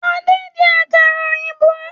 Ade n jẹ àkàrà òyìnbó